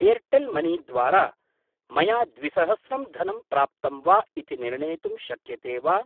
Airtel money द्वारा मया द्विसहस्रं धनं प्राप्तं वा इति निर्णेतुं शक्यते वा?